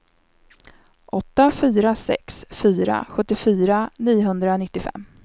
åtta fyra sex fyra sjuttiofyra niohundranittiofem